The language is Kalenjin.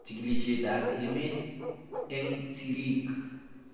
Chig'ilishet ab emet eng'sirik